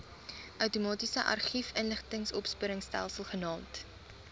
outomatiese argiefinligtingsopspoorstelsel genaamd